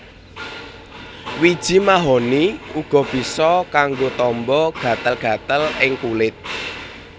Wiji mahoni uga bisa kanggo tamba gatel gatel ing kulit